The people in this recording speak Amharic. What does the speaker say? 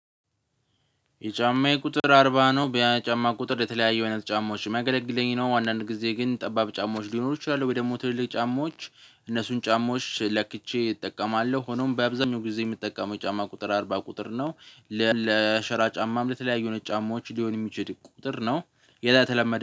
የጫማዬ ቁጥር አርባ ነው በየጫማ ቁጥር የተለያየ አውይነት ጫማዎች ሚያገለግለኝ ነው። አንዳንድ ጊዜ ግን ጠባብ ጫማዎች ሊኖሩ ይችላሉ ወይ ደግሞ ትልልቅ ጫማዎች እነሱን ጫማዎች ለክቼ እጠቀማለው ሆኖም በአብዛኛው ጊዜ ምጠቀመው ጫማ ቁጥር አርባ ቁጥር ነው። ለሸራ ጫማም ለተለያዩ አይነት ጫማዎች ሊሆን የሚችል ቁጥር ነው። የተለመደ